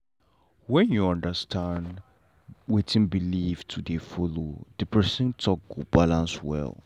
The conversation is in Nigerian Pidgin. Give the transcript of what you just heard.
wen you understand wetin believe to dey follow the person talk go balance well.